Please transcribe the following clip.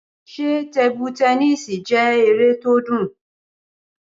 Ṣé tebu tẹnísì jẹ́ eré tó dùn?